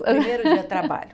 Primeiro dia de trabalho.